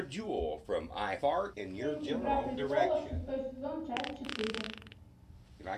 фильм игра престолов шестой сезон часть четыре